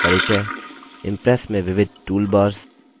impress में विविध toolbars